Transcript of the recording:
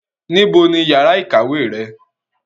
níbo ni yàrá ìkàwé rẹ?